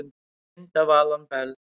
Mynd Alan Bell